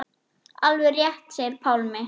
Alveg rétt segir Pálmi.